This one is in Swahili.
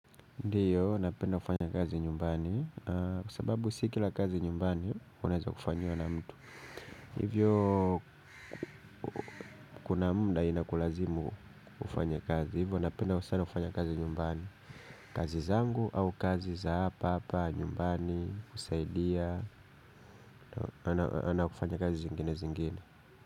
Ndiyo, napenda kufanya kazi nyumbani, kwa sababu si kila kazi nyumbani unaeza kufanyiwa na mtu. Hivyo kuna muda inakulazimu kufanya kazi, hivyo anapenda sana kufanya kazi nyumbani. Kazi zangu au kazi za hapahapa, nyumbani, kusaidia, anapenda kazi zingine zingine.